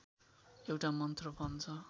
एउटा मन्त्र भन्छ